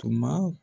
Tuma